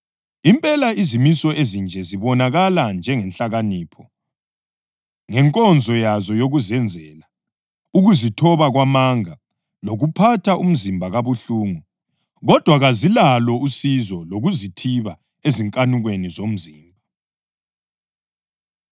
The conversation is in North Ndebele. Impela izimiso ezinje zibonakala njengenhlakanipho, ngenkonzo yazo yokuzenzela, ukuzithoba kwamanga lokuphatha umzimba kabuhlungu kodwa kazilalo usizo lokuzithiba ezinkanukweni zomzimba.